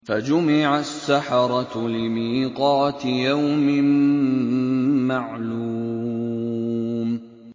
فَجُمِعَ السَّحَرَةُ لِمِيقَاتِ يَوْمٍ مَّعْلُومٍ